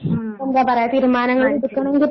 ഉം അത് ശരി.